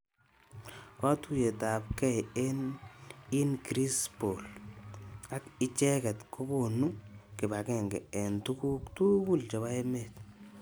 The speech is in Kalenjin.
Katuyet ab kei eng in Greenspall ak.icheket kokonu kipagenge eng tukuk tugul chepo emet.